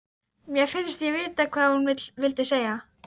Mér finnst ég vita hvað hún vildi segja.